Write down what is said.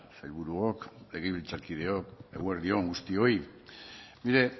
sailburuok legebiltzarkideok eguerdi on guztioi mire